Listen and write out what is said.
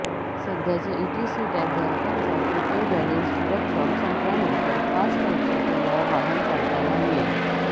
सध्याचे ईटीसी टॅगधारकांचा प्रीपेड बॅलेन्सची रक्कम संपल्यानंतर फास्ट टॅगचा पर्याय वाहन चालकांना मिळेल